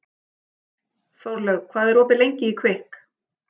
Þórlaug, hvað er opið lengi í Kvikk?